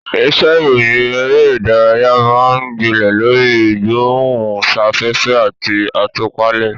Iṣẹ́ ìròyìn eré ìdárayá máa ń gbilẹ̀ lórí ìgbóhùnsáfẹ́fẹ́ àti àtúpalẹ̀.